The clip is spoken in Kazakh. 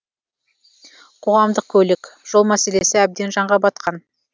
қоғамдық көлік жол мәселесі әбден жанға батқан